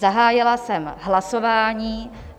Zahájila jsem hlasování.